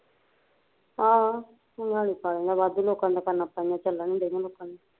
ਆਹੋ ਭਾਂਗਾਲੀ ਪਾ ਲੈਂਦਾ ਵਾਧੂ ਲੋਕਾਂ ਨੇ ਦੁਕਾਨ ਪਈਆ ਚੱਲ ਈ ਡਈਆ ਲੋਕਾਂ ਦੀਆ